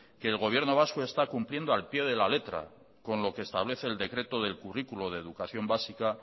que el gobierno vasco está cumpliendo al pie de la letra con lo que establece el decreto del currículo de educación básica